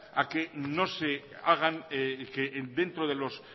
a que no se hagan que dentro de los